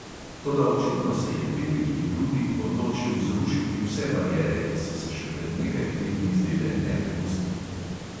Toda očitno se je veliki rudi odločil zrušiti vse bariere, ki so se še pred nekaj tedni zdele nepremostljive.